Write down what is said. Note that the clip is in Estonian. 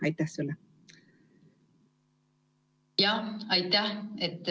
Aitäh!